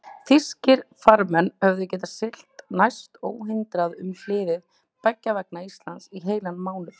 Þýskir farmenn höfðu getað siglt næsta óhindrað um hliðið beggja vegna Íslands í heilan mánuð.